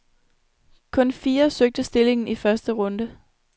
Kun fire søgte stillingen i første runde.